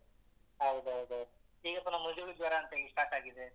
ಹೌದ್ ಹೌದ್ ಹೌದು. ಈಗ ಪುನ ಮೆದುಳು ಜ್ವರ ಅಂತ ಹೇಳಿ start ಆಗಿದೆ.